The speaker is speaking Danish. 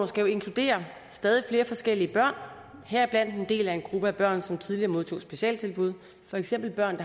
skal inkludere stadig flere forskellige børn heriblandt en del af en gruppe børn som tidligere modtog specialtilbud for eksempel børn